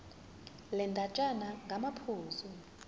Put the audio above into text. le ndatshana ngamaphuzu